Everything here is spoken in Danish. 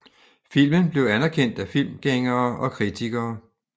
Filmen blev anderkendt af filmgængere og kritikere